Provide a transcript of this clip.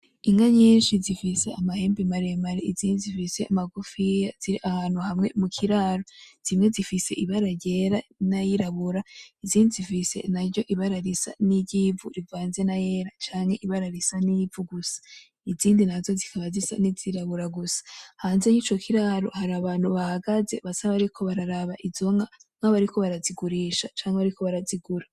Inka nyinshi zifise amahembe maremare izindi zifise magufiya ziri ahantu hamwe mu kiraro, zimwe zifise ibara ryera nayirabura izindi zifise naryo ibara risa n'ivu rivanze nayera canke ibara risa niry'ivu gusa, izindi nazo n'izirabura gusa. hanze yico kiraro hari abantu bahagaze basa naho bariko barazigura canke basa naho bariko barazigurisha.